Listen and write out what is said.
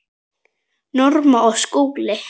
Norma og Skúli.